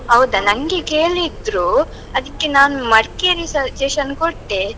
ಹೌದಾ? ನಂಗೆ ಕೇಳಿದ್ರು, ಅದಕ್ಕೆ ನಾನು ಮಡಿಕೇರಿ suggestion ಕೊಟ್ಟೆ.